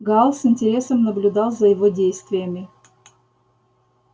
гаал с интересом наблюдал за его действиями